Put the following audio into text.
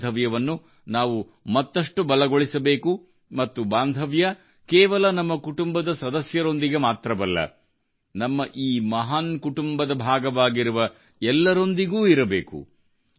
ಈ ಬಾಂಧವ್ಯವನ್ನು ನಾವು ಮತ್ತಷ್ಟು ಬಲಗೊಳಿಸಬೇಕು ಮತ್ತು ಬಾಂಧವ್ಯ ಕೇವಲ ನಮ್ಮ ಕುಟುಂಬದ ಸದಸ್ಯರೊಂದಿಗೆ ಮಾತ್ರವಲ್ಲ ನಮ್ಮ ಈ ಮಹಾನ್ ಕುಟುಂಬದ ಭಾಗವಾಗಿರುವ ಎಲ್ಲರೊಂದಿಗೂ ಇರಬೇಕು